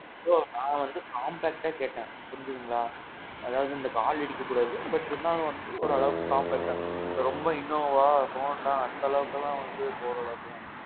bro, நான் வந்து compact கேட்டேன். புரிஞ்சதுங்களா? அதாவது இந்த கால் இடிக்க கூடாது. but, இருந்தாலும் வந்து ஓரளவுக்கு compactஅ ரொம்ப innova Honda அந்த அளவுக்கு எல்லாம் வந்து போற அளவுக்கு எல்லாம் இல்ல.